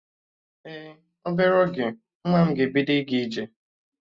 Ee, obere oge nwa m ga-ebido ịga ije